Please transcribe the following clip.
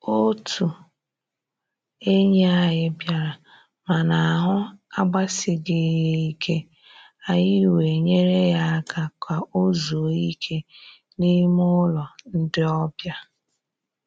Otụ enyi anyị bịara, mana ahụ agbasighị ya ike, anyị wee nyere ya aka ka o zuo ike n'ime ụlọ ndị ọbịa.